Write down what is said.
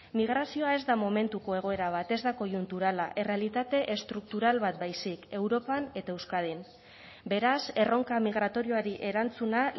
migrazioa ez da momentuko egoera bat ez da koiunturala errealitate estruktural bat baizik europan eta euskadin beraz erronka migratorioari erantzuna